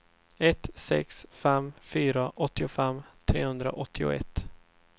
ett sex fem fyra åttiofem trehundraåttioett